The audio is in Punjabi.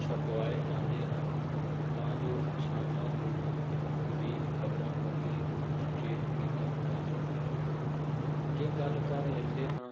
ਛਪਵਾਏ ਜਾਂਦੇ ਹਨ ਤਾਂ ਜੋ ਕਿਸਾਨਾਂ ਨੂੰ ਵੀ ਖਬਰਾਂ ਪ੍ਰਤੀ ਸੁਚੇਤ ਕੀਤਾ ਜਾ ਸਕੇ ਜੇ ਗੱਲ ਕਰ ਲੈਂਦੇ ਹਾਂ